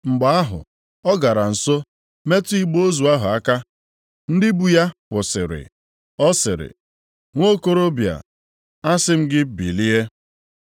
Mgbe ahụ ọ gara nso metụ igbe ozu ahụ aka, ndị bu ya kwụsịrị. Ọ sịrị, “Nwokorobịa, asị m gị bilie!”